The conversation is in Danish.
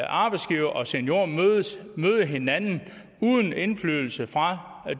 arbejdsgivere og seniorer møde hinanden uden indflydelse fra